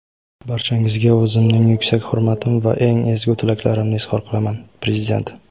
barchangizga o‘zimning yuksak hurmatim va eng ezgu tilaklarimni izhor qilaman – Prezident.